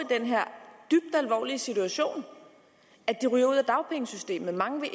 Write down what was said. i situation at de ryger ud af dagpengesystemet mange vil